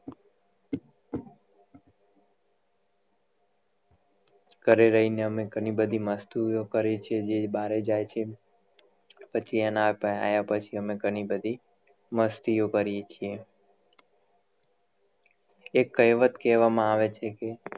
ઘરે રહી ને અમે ઘણીબધી મસ્તીઑ કરી છે જે બારે જાય છે પછી એના આયા પછી અમે ઘનીબધી મસ્તીઑ કરીએ છે એક કહેવત કેવામાં આવે છે કે